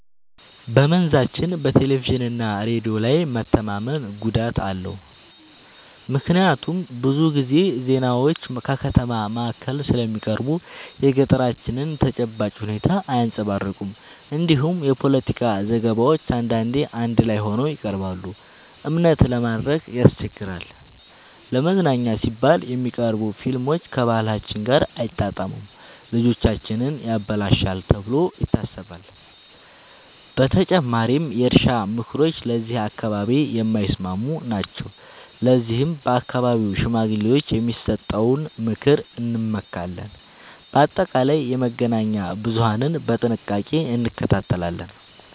በመንዛችን በቴሌቪዥንና ሬዲዮ ላይ መተማመን ጉዳት አለው፤ ምክንያቱም ብዙ ጊዜ ዜናዎች ከከተማ ማዕከል ስለሚቀርቡ የገጠራችንን ተጨባጭ ሁኔታ አያንጸባርቁም። እንዲሁም የፖለቲካ ዘገባዎች አንዳንዴ አዳላይ ሆነው ይቀርባሉ፤ እምነት ለማድረግ ያስቸግራል። ለመዝናኛ ሲባል የሚቀርቡ ፊልሞች ከባህላችን ጋር አይጣጣሙም፣ ልጆቻችንን ያበላሻሉ ተብሎ ይታሰባል። በተጨማሪም የእርሻ ምክሮች ለዚህ አካባቢ የማይስማሙ ናቸው፤ ለዚህም በአካባቢው ሽማግሌዎች የሚሰጠውን ምክር እንመካለን። በአጠቃላይ የመገናኛ ብዙሀንን በጥንቃቄ እንከታተላለን።